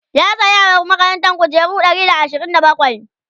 ya saya wa makarantan kujeru Ɗari da ashirin da bakwai?